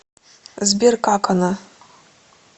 сбер как она